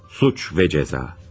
Cinayət və cəza.